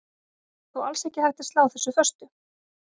Það er þó alls ekki hægt að slá þessu föstu.